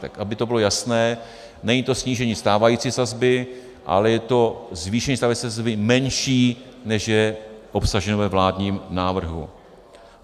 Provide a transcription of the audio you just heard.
Tak aby to bylo jasné, není to snížení stávající sazby, ale je to zvýšení stávající sazby menší, než je obsaženo ve vládním návrhu.